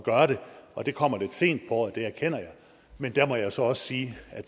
gøre det og det kommer lidt sent på året det erkender jeg men der må jeg så også sige at